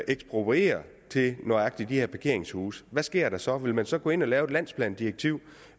ekspropriere til lige nøjagtig de her parkeringshuse hvad sker der så vil man så gå ind at lave et landsplandirektiv